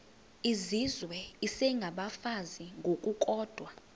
izizwe isengabafazi ngokukodwa